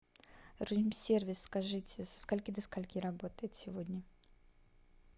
рум сервис скажите со скольки до скольки работает сегодня